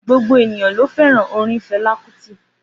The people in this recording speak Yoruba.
Gbogbo ènìyàn ló fẹ́ràn orin Fala Kuti